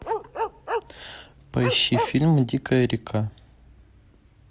поищи фильм дикая река